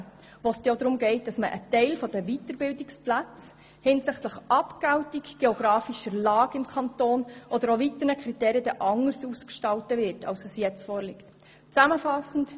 Dann geht es auch darum, dass ein Teil der Weiterbildungsplätze hinsichtlich Abgeltung, geografischer Lage im Kanton oder weiteren Kriterien anders ausgestaltet werden als im jetzt vorliegenden Antrag.